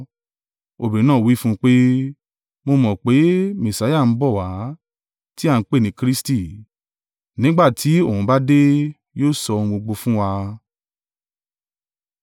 Obìnrin náà wí fún un pé, mo mọ̀ pé, “Messia ń bọ̀ wá, tí a ń pè ní Kristi, nígbà tí Òun bá dé, yóò sọ ohun gbogbo fún wa.”